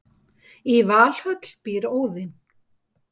í valhöll býr óðinn